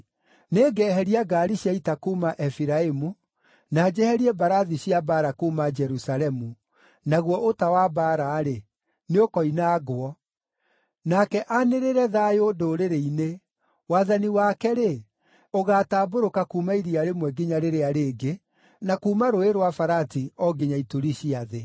Nĩngeheria ngaari cia ita kuuma Efiraimu, na njeherie mbarathi cia mbaara kuuma Jerusalemu, naguo ũta wa mbaara-rĩ, nĩũkoinangwo. Nake aanĩrĩre thayũ ndũrĩrĩ-inĩ. Wathani wake-rĩ, ũgaatambũrũka kuuma iria rĩmwe nginya rĩrĩa rĩngĩ, na kuuma Rũũĩ rwa Farati o nginya ituri cia thĩ.